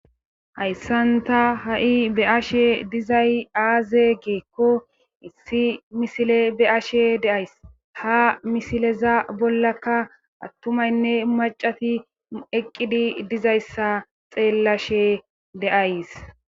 Hayssanta ha7i beashe dizay aaze geekko issi misile be ashe deays ha misileza bollaka attumaynne macati eqqidi dizayssa xeellashe deays.